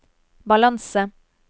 balanse